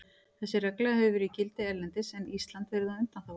Þessi regla hefur verið í gildi erlendis en Ísland verið á undanþágu.